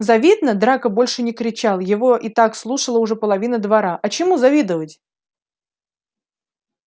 завидно драко больше не кричал его и так слушала уже половина двора а чему завидовать